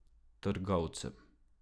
Trgovcem.